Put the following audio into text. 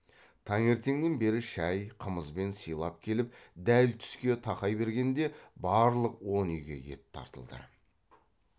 таңертеңнен бері шай қымызбен сыйлап келіп дәл түске тақай бергенде барлық он үйге ет тартылды